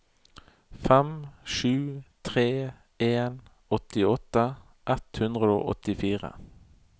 fem sju tre en åttiåtte ett hundre og åttifire